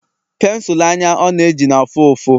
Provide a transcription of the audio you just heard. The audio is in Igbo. pensụl anya ọ na-eji na-afụ ụfụ